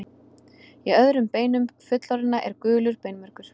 Í öðrum beinum fullorðinna er gulur beinmergur.